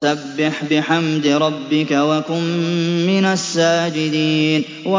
فَسَبِّحْ بِحَمْدِ رَبِّكَ وَكُن مِّنَ السَّاجِدِينَ